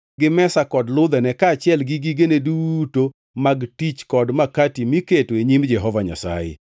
gi mesa kod ludhene kaachiel gi gigene duto mag tich kod makati miketo e nyim Jehova Nyasaye;